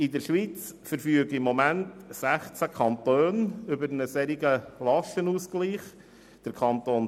In der Schweiz verfügen derzeit 20 Kantone über einen Lastenausgleich dieser Art.